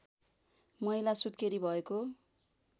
महिला सुत्केरी भएको